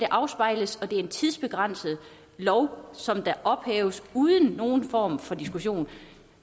afspejler og det er en tidsbegrænset lov som ophæves uden nogen form for diskussion